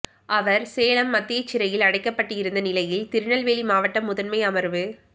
அவர் சேலம் மத்திய சிறையில் அடைக்கப்பட்டிருந்த நிலையில் திருநெல்வேலி மாவட்ட முதன்மை அமர்வு